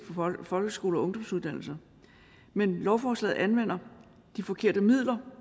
på folkeskole og ungdomsuddannelser men lovforslaget anvender de forkerte midler